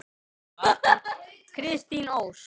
Kristín Ósk.